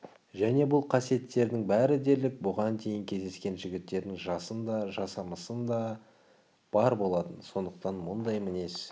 және бұл қасиеттердің бәрі дерлік бұған дейін кездескен жігіттердің жасында да жасамысында да бар болатын сондықтан мұндай мінез